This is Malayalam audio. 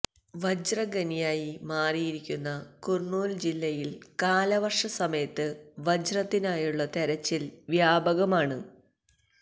വജ്രഖനിയായി മാറിയിരിക്കുന്ന കുര്ണൂല് ജില്ലയില് കാലവര്ഷ സമയത്ത് വജ്രത്തിനായുള്ള തെരച്ചില് വ്യാപകമാണ്